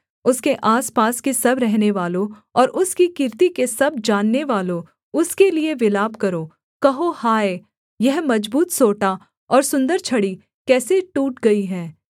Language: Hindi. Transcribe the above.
उसके आसपास के सब रहनेवालों और उसकी कीर्ति के सब जाननेवालों उसके लिये विलाप करो कहो हाय यह मजबूत सोंटा और सुन्दर छड़ी कैसे टूट गई है